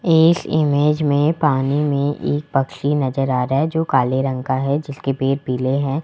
इस इमेज में पानी में एक पक्षी नजर आ रा है जो काले रंग का है जिसके पेट पीले है।